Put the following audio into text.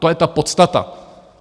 To je ta podstata.